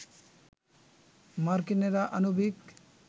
মার্কিনিরা আনবিক